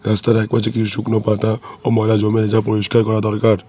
রাস্তার একপাশে কিছু শুকনো পাতা ও ময়লা জমে আছে যা পরিষ্কার করা দরকার।